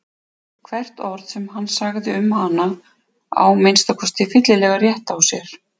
Hvert orð sem hann sagði um hana á að minnsta kosti fyllilega rétt á sér.